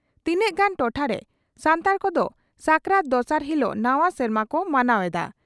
ᱛᱤᱱᱟᱝᱜᱟᱱ ᱴᱚᱴᱷᱟᱨᱮ ᱥᱟᱱᱛᱟᱲ ᱠᱚᱫᱚ ᱥᱟᱠᱨᱟᱛ ᱫᱚᱥᱟᱨ ᱦᱤᱞᱚᱜ ᱱᱟᱣᱟ ᱥᱮᱨᱢᱟ ᱠᱚ ᱢᱟᱱᱟᱣ ᱮᱫᱼᱟ ᱾